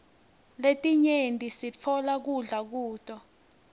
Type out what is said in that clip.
letinye sitfola kudla kuto